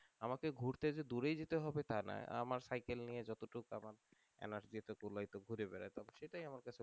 আমাকে ঘুরতে যে দূরে যেতে হবে আমার সাইকেল নিয়ে যতটুক আমার এলার্জিতে কোলাসো ঘুরে বেড়ায় ঘুরে সেটাই আমার কাছে